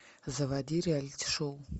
заводи реалити шоу